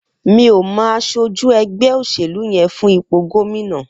Mi ó mọ àṣójí ẹgbẹ óṣélú yèn fún ipó góminà